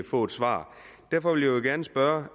få et svar derfor vil jeg gerne spørge